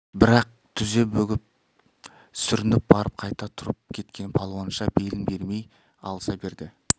бірақ тізе бүгіп сүрініп барып қайта тұрып кеткен палуанша белін бермей алыса берді